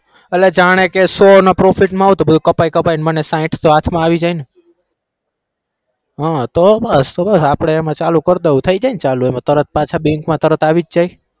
અલ્યા જાણે કે સો ના profit મા આવું તો કપાઈ કપાઈ ને સાહીઠ તો હાથ માં આવી જાય ને હ તો આપણે એમાં ચાલુ કરી દઉં થઇ જાય ને ચાલુ એમાં તરત પાછા bank તરત આવી જાય ને